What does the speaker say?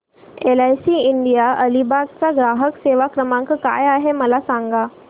LIC India Alibag चा ग्राहक सेवा क्रमांक काय आहे मला सांगा